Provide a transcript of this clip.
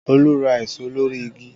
Olú ra èso lórí igi